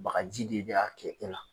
Bagaji de la